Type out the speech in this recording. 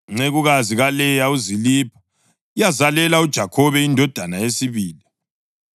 Incekukazi kaLeya uZilipha yazalela uJakhobe indodana yesibili.